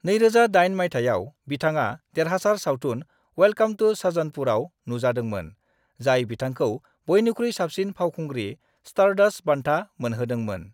2008 मायथाइयाव, बिथाङा देरहासार सावथुन वेलकम टू सज्जनपुरआव नुजादोंमोन, जाय बिथांखौ बयनिख्रुइ साबसिन फावखुंग्रि स्टारडस्ट बान्था मोनहोदोंमोन।